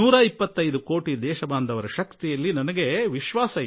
ನನ್ನ 125 ಕೋಟಿ ಭಾರತೀಯರ ಶಕ್ತಿಯಲ್ಲಿ ಭರವಸೆ ಇದೆ